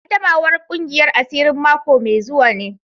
Qaddamawar kungiyar asirin mako mai zuwa ne.